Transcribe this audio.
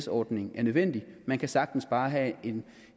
ordning er nødvendig man kan sagtens bare have